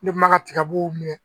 Ne kuma ka tigabuw minɛ